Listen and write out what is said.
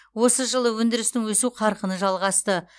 осы жылы өндірістің өсу қарқыны жалғасты